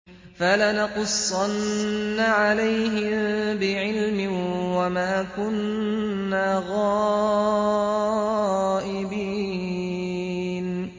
فَلَنَقُصَّنَّ عَلَيْهِم بِعِلْمٍ ۖ وَمَا كُنَّا غَائِبِينَ